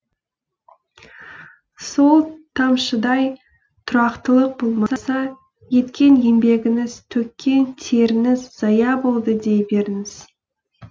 сол тамшыдай тұрақтылық болмаса еткен еңбегіңіз төккен теріңіз зая болды дей беріңіз